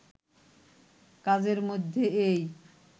কাজের মধ্যে এই